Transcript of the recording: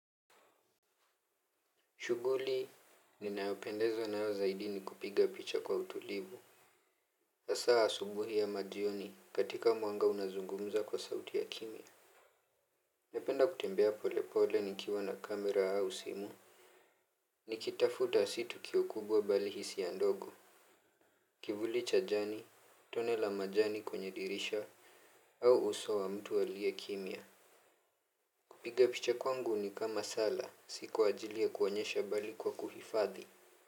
Shuguli, ninayopendezwa nayo zaidi ni kupiga picha kwa utulivu. Hasa asubuhi ya ama jioni katika mwanga unazungumuza kwa sauti ya kimya. Napenda kutembea polepole nikiwa na kamera au simu. Nikitafuta si tukio kubwa bali hisia ndogo. Kivuli cha jani, tone la majani kwenye dirisha, au uso wa mtu aliye kimia. Kupiga picha kwangu ni kama sala, si kwa ajili ya kuonyesha bali kwa kuhifadhi.